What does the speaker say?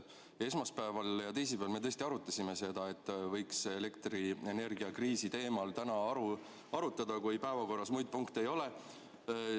Esmaspäeval ja teisipäeval me tõesti arutasime seda, et võiks elektrienergiakriisi teemal täna arutada, kui päevakorras muid punkte ei ole.